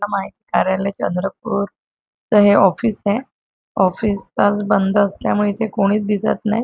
कार्यालय चंद्रपूरच हे ऑफिस आहे ऑफिस आज बंद असल्यामुळे इथे कोणीच दिसत नाही.